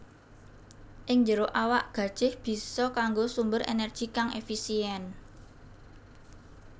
Ing jero awak gajèh bisa kanggo sumber ènèrgi kang èfisièn